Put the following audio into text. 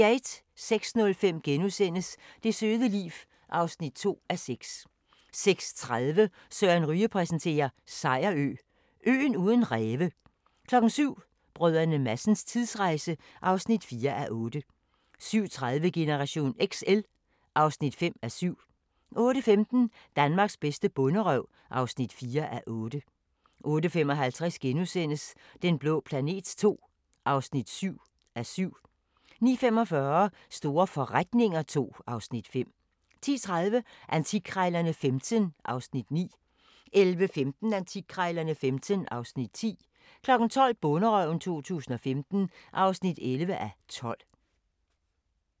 06:05: Det søde liv (2:6)* 06:30: Søren Ryge præsenterer: Sejerø – øen uden ræve 07:00: Brdr. Madsens tidsrejse (4:8) 07:30: Generation XL (5:7) 08:15: Danmarks bedste bonderøv (4:8) 08:55: Den blå planet II (7:7)* 09:45: Store forretninger II (Afs. 5) 10:30: Antikkrejlerne XV (Afs. 9) 11:15: Antikkrejlerne XV (Afs. 10) 12:00: Bonderøven 2015 (11:12)